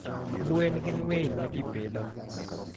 gwen gin winy ma ji pidho.